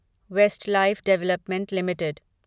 Westlife development limited